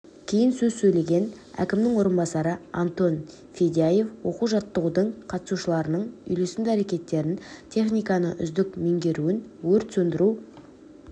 кейін сөз сөйлеген әкімінің орынбасары антон федяев оқу-жаттығудың қатысушыларының үйлесімді әрекеттерін техниканы үздік меңгеруін өрт сөндіру